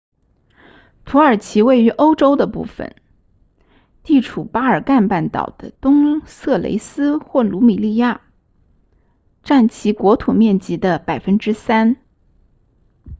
土耳其位于欧洲的部分地处巴尔干半岛的东色雷斯或鲁米利亚占其国土面积的 3％